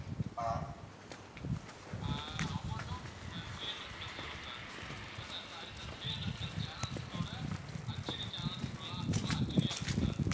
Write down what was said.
ஆஹ் amount டும் three hundred plus வரும் sir இல்ல sir sorry sir three hundred plus channels ஓட HD channels full லா full லா HD யா இருக்கும் sir